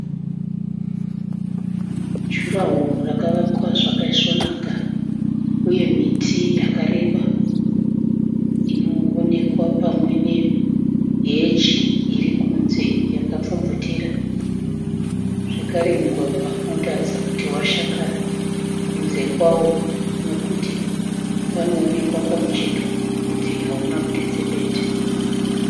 Juraho rakavakwa zvakaisvonaka uye miti yakareba inoonekwa pamwe neheji iri kunze yakapfumvutira zvekare mugwagwa unotaridza kuti washakara kunze kwawo nekuti unoonekwa pamucheto kuti hauna kuti tsepete.